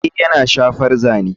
Ee yana shafar zane.